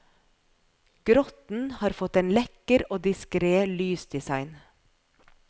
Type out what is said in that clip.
Grotten har fått en lekker og diskret lysdesign.